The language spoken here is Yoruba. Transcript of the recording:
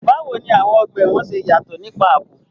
Báwo ni àwọn ọgbà ẹ̀wọ̀n ṣe yàtọ̀ nípa ààbò?